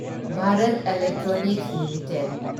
Bharat Electronics limited